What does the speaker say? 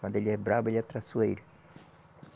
Quando ele é bravo, ele é traiçoeiro